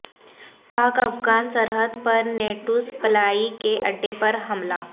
پاک افغان سرحد پر نیٹو سپلائی کے اڈے پر حملہ